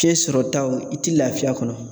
Fiɲɛ sɔrɔ taw i ti lafiya a kɔnɔ